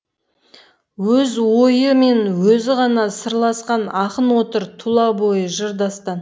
өз ойы мен өзі ғана сырласқан ақын отыр тұла бойы жыр дастан